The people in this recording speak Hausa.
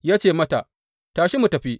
Ya ce mata, Tashi; mu tafi.